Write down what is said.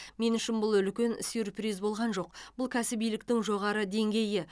мен үшін бұл үлкен сюрприз болған жоқ бұл кәсібиліктің жоғары деңгейі